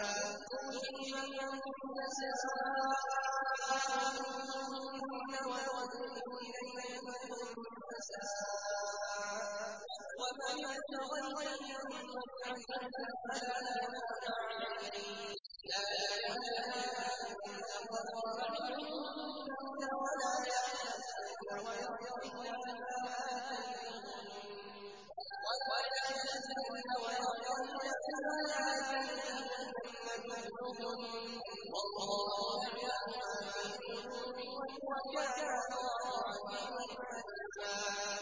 ۞ تُرْجِي مَن تَشَاءُ مِنْهُنَّ وَتُؤْوِي إِلَيْكَ مَن تَشَاءُ ۖ وَمَنِ ابْتَغَيْتَ مِمَّنْ عَزَلْتَ فَلَا جُنَاحَ عَلَيْكَ ۚ ذَٰلِكَ أَدْنَىٰ أَن تَقَرَّ أَعْيُنُهُنَّ وَلَا يَحْزَنَّ وَيَرْضَيْنَ بِمَا آتَيْتَهُنَّ كُلُّهُنَّ ۚ وَاللَّهُ يَعْلَمُ مَا فِي قُلُوبِكُمْ ۚ وَكَانَ اللَّهُ عَلِيمًا حَلِيمًا